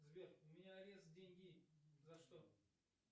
сбер у меня арест деньги за что